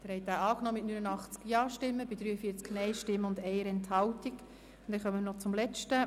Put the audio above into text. Sie haben den Artikel 55 mit 90 Ja- gegen 38 Nein-Stimmen bei 4 Enthaltungen angenommen.